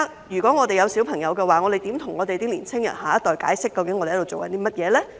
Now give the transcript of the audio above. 如果我們有小朋友，我們如何跟香港的年輕人、下一代解釋究竟我們在做甚麼呢？